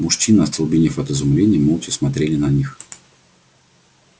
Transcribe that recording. мужчины остолбенев от изумления молча смотрели на них